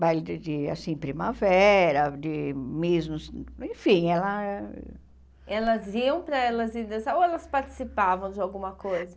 Baile de de, assim, primavera, de mesmo... Enfim, ela... Elas iam para elas ir dançar ou elas participavam de alguma coisa?